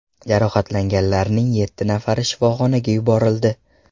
Jarohatlanganlarning yetti nafari shifoxonaga yuborildi.